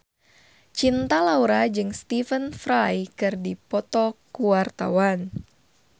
Cinta Laura jeung Stephen Fry keur dipoto ku wartawan